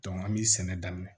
an bɛ sɛnɛ daminɛ